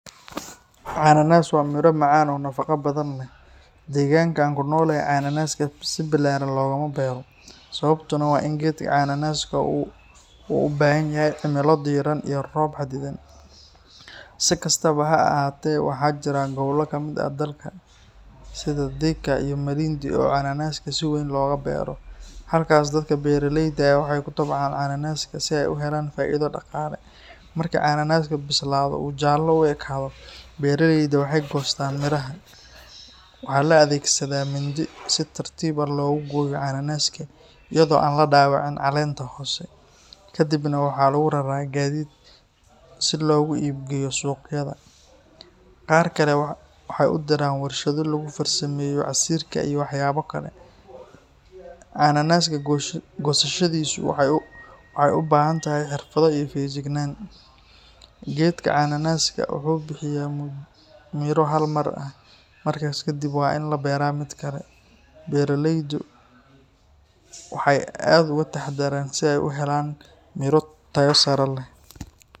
Cananaas waa miro macaan oo nafaqo badan leh. Deegaanka aan ku noolahay cananaaska si ballaaran loogama beero, sababtuna waa in geedka cananaaska uu u baahan yahay cimilo diiran iyo roob xadidan. Si kastaba ha ahaatee, waxaa jira gobollo ka mid ah dalka sida Thika iyo Malindi oo cananaaska si weyn looga beero. Halkaas dadka beeraleyda ah waxay ku tacbaan cananaaska si ay u helaan faa’iido dhaqaale. Marka cananaaska bislaado oo uu jaallo u ekaado, beeraleyda waxay goostaan midhaha. Waxaa la adeegsadaa mindi si tartiib ah loogu gooyo cananaaska iyada oo aan la dhaawacin caleenta hoose. Ka dibna waxaa lagu raraa gaadiid si loogu iib geeyo suuqyada. Qaar kale waxay u diraan warshado lagu farsameeyo casiirka iyo waxyaabo kale. Cananaaska goosashadiisu waxay u baahan tahay xirfad iyo feejignaan. Geedka cananaaska wuxuu bixiyaa midho hal mar ah, markaas kadib waa in la beeraa mid kale. Beeraleydu waxay aad u taxaddaraan si ay u helaan miro tayo sare leh.